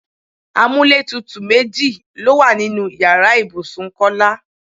Amúlétutù méjì ló wà nínú ìyára ibùsùn Kọ́lá.